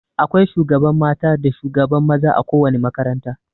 Akwai shugaban mata da shugaban maza a ko wani makaranta.